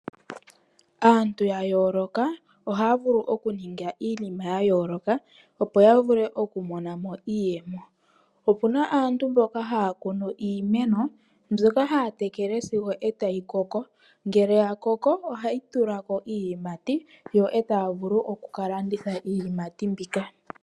Aantu ya yooloka ohaya vulu okuninga iinima ya yooloka opo ya vule okumona mo iiyemo. Opu na aantu mboka haya kunu iimeno mbyoka haya tekele sigo otayi koko. Ngele ya koko, ohayi tula ko iiyimati, yo e taya vulu okuka landitha iiyimati mbika.